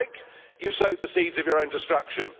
So I think you have sowed the seeds of your own destruction.